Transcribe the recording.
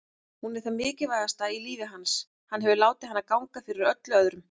Hún er það mikilvægasta í lífi hans, hann hefur látið hana ganga fyrir öllu öðru.